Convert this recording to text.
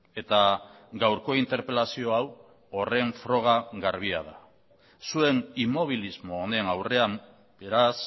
eta gaurko interpelazio hau horren froga garbia da zuen inmobilismo honen aurrean beraz